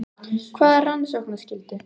Hvaða rannsóknarskyldu?